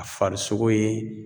A farisogo ye